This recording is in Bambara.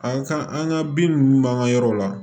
An ka an ka bin ninnu b'an ka yɔrɔ la